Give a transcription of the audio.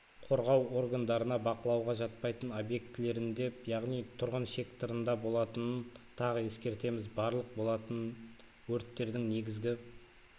қорғау органдарына бақылауға жатпайтын объектілерінде яғни тұрғын секторында болатынын тағы ескертеміз барлық болатын өрттердің негізгі